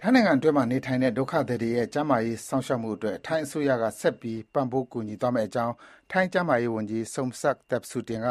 ထိုင်းနိုင်ငံအတွင်းမှာနေထိုင်တဲ့ ဒုက္ခသည်တွေရဲ့ ကျန်းမာရေးစောင့်ရှောက်မှုအတွက် ထိုင်းအစိုးရက ဆက်ပြီး ပံ့ပိုးကူညီသွားမယ့်အကြောင်း ထိုင်း ကျန်းမာရေးဝန်ကြီး Somsak Thepsutin